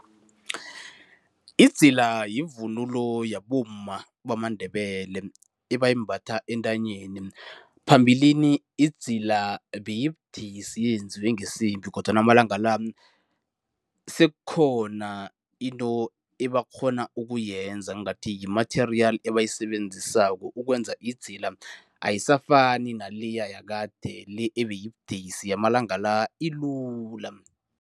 Idzila yivunulo yabomma bamaNdebele ebayimbatha entanyeni. Phambilini idzila beyibudisi yenziwe ngisiphi, kodwana amalanga la sekukhona into ebakghona ukuyenza ngathi yimatheriyali ebayisebenzisako ukwenza idzila. Ayisafani naleya yakade, le ebeyibudisi. Yamalanga la ilula.